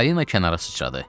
Balina kənara sıçradı.